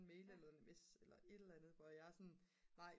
mail eller sms eller et eller andet hvor jeg er sådan nej